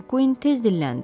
Makkuin tez dilləndi.